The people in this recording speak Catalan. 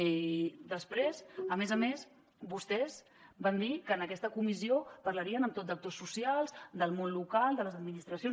i després a més a més vostès van dir que en aquesta comissió parlarien amb tot d’actors socials del món local de les administracions